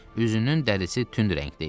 Üzünün dərisi tünd rəngdə idi.